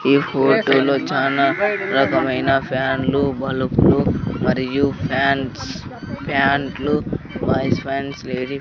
ఈ ఫోటు లో చానా రకమైన ఫ్యాన్ లు బల్బు లు మరియు ఫ్యాన్స్ ప్యాంట్ లు బాయ్స్ పాంట్స్ లేడీ --